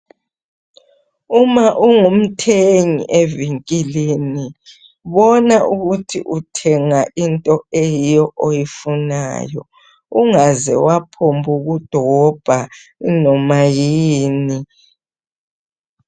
Uma ungumthengi evinkilini bona ukuthi uthenga into eyiyo oyifunayo, ungaze waphomb' kudobha inoma yini.